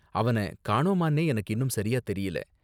அவன காணோமான்னே எனக்கு இன்னும் சரியா தெரியல.